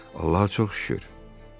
Allaha çox şükür.